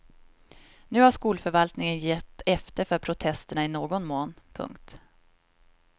Nu har skolförvaltningen gett efter för protesterna i någon mån. punkt